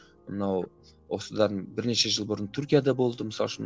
мынау осыдан бірнеше жыл бұрын түркияда болды мысалы үшін